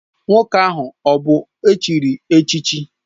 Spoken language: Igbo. Nwoke ahụ ọ bụ echiri echichi?